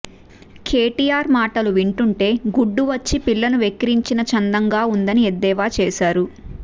కేటీఆర్ మాటలు వింటుంటే గుడ్డు వచ్చి పిల్లను వెక్కిరించిన చందంగా ఉందని ఎద్దేవా చేశారు